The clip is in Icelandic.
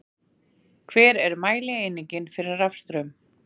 Hver er mælieiningin fyrir rafstraum?